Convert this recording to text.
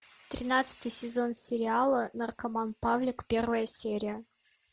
тринадцатый сезон сериала наркоман павлик первая серия